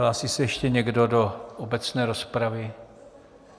Hlásí se ještě někdo do obecné rozpravy?